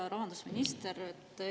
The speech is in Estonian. Hea rahandusminister!